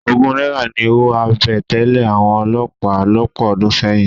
Ogún náírà ni owó àbẹ̀tẹ́lẹ̀ àwọn olọ́pàá lọ́pọ̀ ọdún sẹ́yìn.